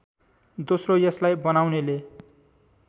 दोस्रो यसलाई बनाउनेले